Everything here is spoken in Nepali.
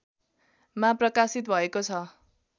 मा प्रकाशित भएको छ